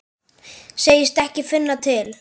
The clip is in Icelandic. Segist ekki finna til.